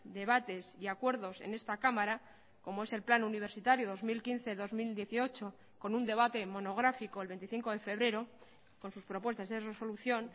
debates y acuerdos en esta cámara como es el plan universitario dos mil quince dos mil dieciocho con un debate monográfico el veinticinco de febrero con sus propuestas de resolución